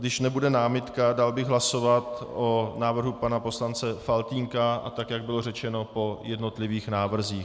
Když nebude námitka, dal bych hlasovat o návrhu pana poslance Faltýnka, a tak jak bylo řečeno, po jednotlivých návrzích.